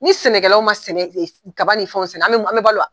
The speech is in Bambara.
Ni sɛnɛkɛlaw ma kaba ni fɛnw sɛnɛ an bɛ balo wa!